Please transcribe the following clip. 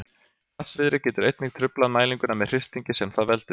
Hvassviðri getur einnig truflað mælinguna með hristingi sem það veldur.